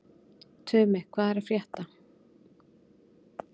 Tumi, hvað er að frétta?